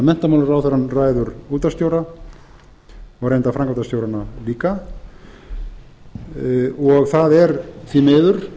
menntamálaráðherrann ræður útvarpsstjóra og reyndar framkvæmdastjórana líka þá er það því miður